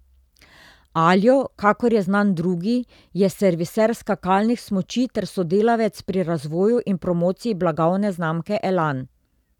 Aljo, kakor je znan drugi, je serviser skakalnih smuči ter sodelavec pri razvoju in promociji blagovne znamke Elan.